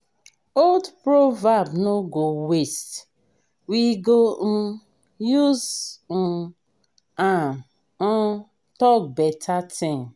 old proverb no go waste we go um use um am um talk beta thing.